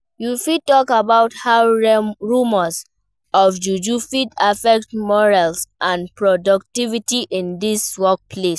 You fit talk about how rumors of juju fit affect morale and productivity in di workplace.